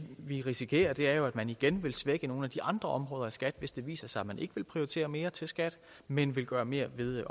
vi risikerer er jo at man igen vil svække nogle af de andre områder i skat hvis det viser sig at man ikke vil prioritere mere til skat men vil gøre mere ved